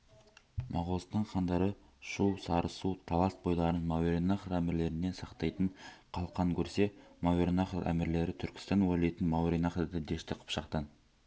моғолстан хандары шу сарысу талас бойларын мауреннахр әмірлерінен сақтайтын қалқан көрсе мауреннахр әмірлері түркістан уәлиетін мауреннахрды дәшті қыпшақтан